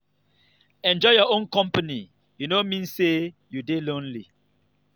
enjoy your own company e no mean say you dey lonely.